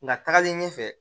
Nka tagalen ɲɛfɛ